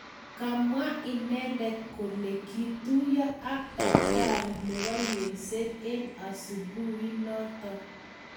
Kamwa inendet kole kituyo ak dakitari nebo yengset en asubuhi inoton